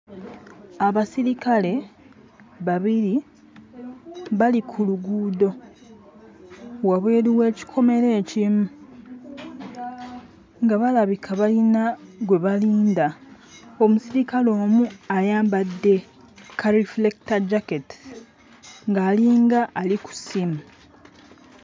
Abasirikale babiri bali ku luguudo wabweru w'ekikomera ekimu nga balabika bayina gwe balinda. Omusirikale omu ayambadde kalifulekitajjaketi ng'alinga ali ku ssimu.